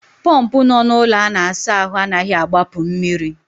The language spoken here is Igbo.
Pọmpụ nọ n'ụlọ a na-asa ahụ anaghị agbapụ mmiri.